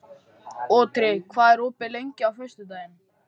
Otri, hvað er opið lengi á föstudaginn?